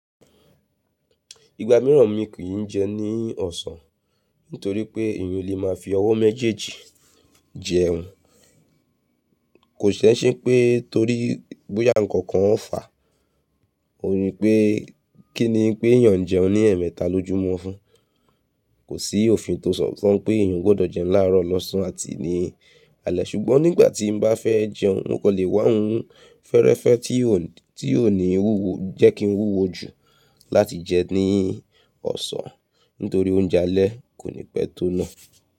Ìgbà mìíràn mi kì í jẹun ní ọ̀sán nítorí pé èyàn o lè máa fi ọwọ́ méjèèjì jẹun. Kò sí ẹṣe npé torí bóyá ǹkan kan ò fà, o rí i pé kí ni pé èyàn jẹun ní ẹ̀ẹ̀mẹta lójú lmo mọ́fún. Kò sí òfin tó sọ pé èyàn gbọdọ̀ jẹun láàárọ̀ lọ́sàn án àti ní alẹ́ ṣùgbọ́n nígbà tí mo bá fẹ́ jẹun, wọn kò lè wá hun fẹ́ẹ́rẹ́fẹ́ tí ò ní wúwo jẹ́ kí n wúwo jù láti jẹun ní ọ̀sán nítorí oúnjẹ alẹ́ kò ní pẹ́ tó náà.